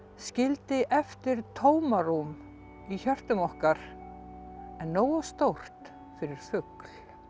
skildi eftir tómarúm í hjörtum okkar en nógu stórt fyrir fugl